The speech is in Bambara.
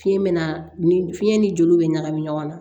Fiɲɛ bɛ na ni fiɲɛ ni joliw bɛ ɲagami ɲɔgɔn na